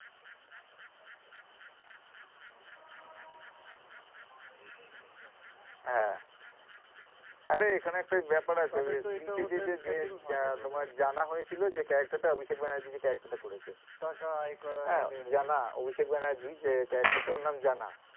হ্যাঁ। আরে এখানে একটা ব্যপার আছে স্ত্রী তে যে জানা হয়েছিলো যে character টা অভিষেক ব্যানার্জী যে character টা করেছে হ্যাঁ জানা অভিষেক ব্যানার্জী যে character টা ওর নাম জানা।